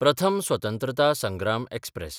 प्रथम स्वतंत्रता संग्राम एक्सप्रॅस